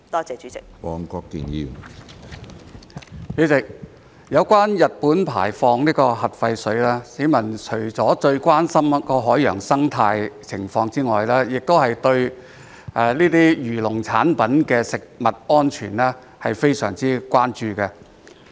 主席，有關日本排放核廢水，市民除了最關心海洋生態外，亦對這些漁農產品的食用安全非常關注。